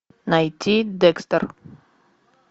найти декстер